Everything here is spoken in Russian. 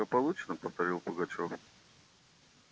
благополучно повторил пугачёв